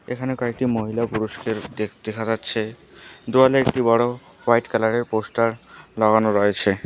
এখানে কয়েকটি মহিলা ও পুরুষকে দেখতে দেখা যাচ্ছে দেওয়ালে একটি বড়ো হোয়াইট কালারের পোস্টার লাগানো রয়েছে।